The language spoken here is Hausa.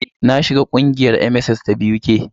Na jona ƙungiyar MSS ta BUK.